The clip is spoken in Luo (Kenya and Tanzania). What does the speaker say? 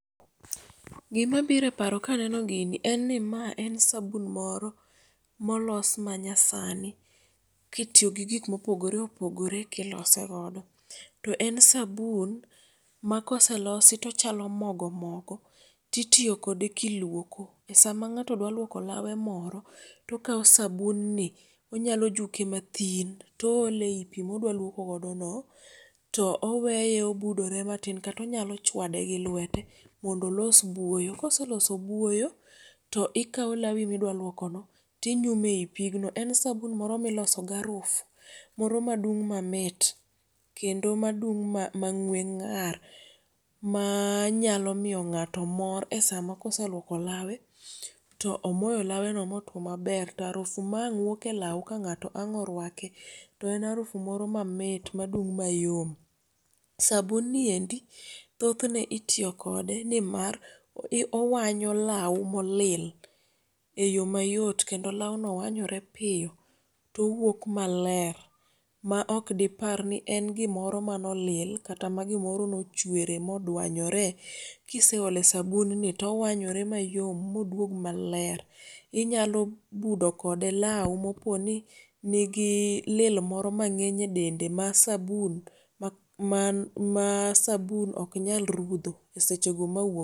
Gima biro eparo kaneno gini, en ni ma en sabun moro molos manyasani kitiyogi gik mopogore opogore kilose godo. To en sabun ma koselosi tochalo mogo mogo ti tiyo kode kiluoko. Esama ng'ato dwa luoko lawe moro tokawo sabunni, onyalo juke mathin to oole eyi pii modwa luoko godono to oweye obudore matin kata onyalo chwade gi lwete mondo olos buoyo. Kose loso buoyo, to ikawo lawi midwa luokono tinyume eyi pigno. En sabun moro miloso garufu moro madung' mamit kendo madung' mang'we ng'ar manyalo miyo ng'ato mor esama kose luoko lawe to omoyo laweno motuo maber to arufu maang' wuoke elaw ka ng'ato ang' orwake to en arufu moro mamit madung' mayom. Sabunni endi thothne itiyo kode nimar owanyo lawo molil eyo mayot kendo lawno wanyore piyo towuok maler ma ok diparni en gimoro mane olil kata magimoro nochwere modwanyore. Kiseole sabunni to owanyore mayom moduog maler. Inyalo budo kode lawo moponi nigi lil moro mang'eny adende ma sabun man ma sabun ok nyal rudho esechego mawuog